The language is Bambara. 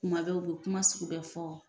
Kuma bɛɛ o bɛ kuma sugu bɛɛ fɔ.